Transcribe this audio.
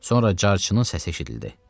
Sonra carçının səsi eşidildi.